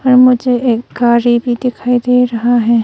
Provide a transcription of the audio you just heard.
और मुझे एक गारी भी दिखाई दे रहा हैं।